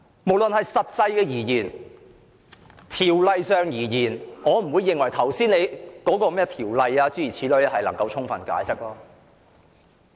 無論是就實際情況或《條例草案》而言，我並不認為你能夠根據你剛才所說的條文提供充分解釋。